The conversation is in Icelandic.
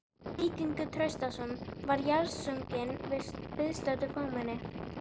Víkingur Traustason var jarðsunginn að viðstöddu fámenni.